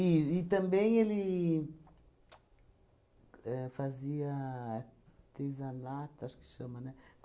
e também ele éh fazia artesanato, acho que chama, né?